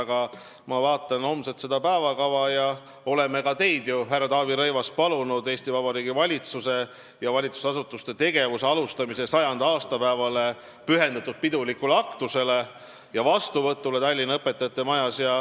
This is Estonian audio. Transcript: Aga ma vaatan homset päevakava ja näen, et me oleme ka teid, härra Taavi Rõivas, palunud Eesti Vabariigi valitsuse ja valitsusasutuste tegevuse alustamise 100. aastapäevale pühendatud pidulikule aktusele ja vastuvõtule Tallinna Õpetajate Majas.